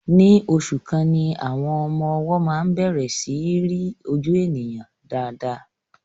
Ní oṣù kan ni àwọn ọmọ-ọwọ máa ń bẹ̀rẹ̀ sí í rí ojú ènìyàn dáadáa.